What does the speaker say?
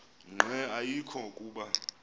nqe ayekho kuba